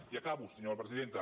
i acabo senyora presidenta